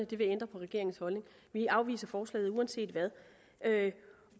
vil det ændre på regeringens holdning vi afviser forslaget uanset hvad